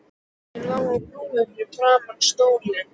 Ég lá á grúfu fyrir framan stólinn.